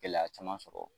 Gɛlɛya caman sɔrɔ